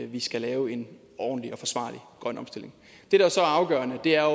vi skal lave en ordentlig og forsvarlig grøn omstilling det der så er afgørende er